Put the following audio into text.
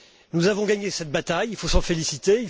Nous avons gagné cette bataille, il faut s'en féliciter.